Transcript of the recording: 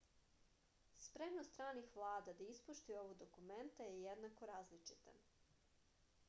spremnost stranih vlada da ispoštuju ova dokumenta je jednako različita